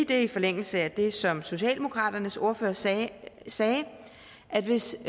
det er i forlængelse af det som socialdemokraternes ordfører sagde sagde at hvis